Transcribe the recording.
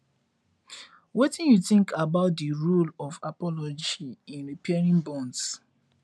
wetin you think about di role of apology in repairing bonds